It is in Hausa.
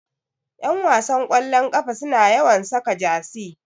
Ƴanwasan ƙwallon ƙafa suna yawan saka jasi